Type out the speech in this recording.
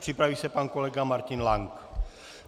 Připraví se pan kolega Martin Lank.